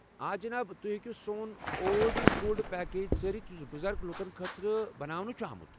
آ، جناب۔ تُہۍ ہٮ۪کِو سون اولڈ اِز گولڈ پیکیج ژٲرِتھ یُس بُزرگ لوٗکن خٲطرٕ ناونہٕ چُھ آمت ۔